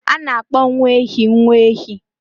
A na-akpọ nwa ehi nwa ehi.